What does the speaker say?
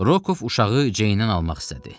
Rokov uşağı Ceydən almaq istədi.